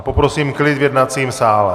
A poprosím klid v jednacím sále.